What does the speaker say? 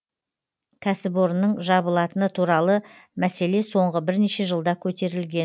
кәсіпорынның жабылатыны туралы мәселе соңғы бірнеше жылда көтерілген